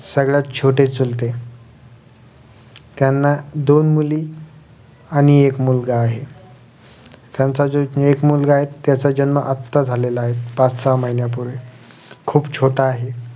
सगळ्यात छोटे चुलते त्यांना दोन मुली आणि एक मुलगा आहे त्यांचा जो एक मुलगा आहे त्यांचा जन्म अत्ता झालेला आहे पाच सहा महिन्या पूर्वी खुप छोटा आहे